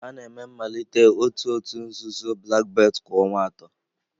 A na-eme mmalite otu òtù nzuzo Black belt kwa ọnwa atọ.